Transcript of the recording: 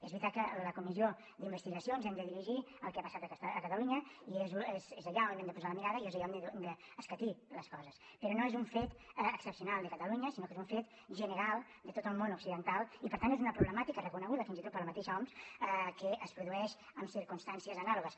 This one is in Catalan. és veritat que a la comissió d’investigació ens hem de dirigir al que ha passat a catalunya i és allà on hem de posar la mirada i és allà on hem d’escatir les coses però no és un fet excepcional de catalunya sinó que és un fet general de tot el món occidental i per tant és una problemàtica reconeguda fins i tot per la mateixa oms que es produeix en circumstàncies anàlogues